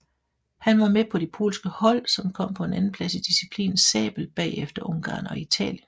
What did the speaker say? Han var med på de polske hold som kom på en andenplads i disciplinen sabel bagefter Ungarn og Italien